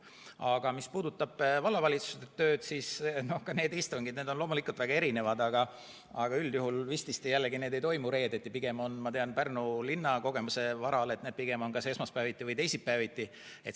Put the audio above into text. Aga mis puudutab vallavalitsuse tööd, siis ka need istungid on loomulikult väga erinevad, aga üldjuhul vististi jällegi need ei toimu reedeti, pigem on need, ma tean Pärnu linna kogemuse varal, kas esmaspäeviti või teisipäeviti.